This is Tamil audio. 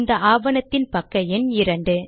இந்த ஆவணத்தின் பக்க எண் 2